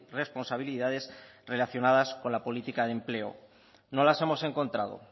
responsabilidades relacionadas con la política de empleo no las hemos encontrado